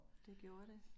Det gjorde det